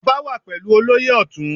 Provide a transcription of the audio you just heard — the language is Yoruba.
Ọba wà pẹ̀lú olóyè Ọtun.